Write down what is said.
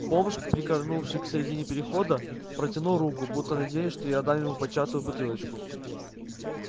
бомж прикорнувший в середине перехода протянул руку будто надеясь что я отдам ему початую бутылочку